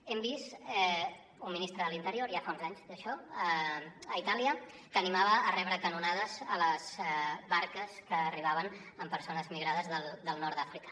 hem vist un ministre de l’interior ja fa uns anys d’això a itàlia que animava a rebre a canonades les barques que arribaven amb persones migrades del nord d’àfrica